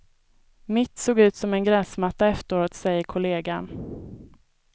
Mitt såg ut som en gräsmatta efteråt, säger kollegan.